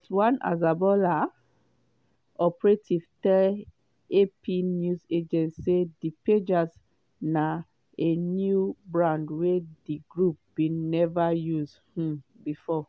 but one hezbollah operative tell ap news agency say di pagers na a new brand wey di group bin never use um before.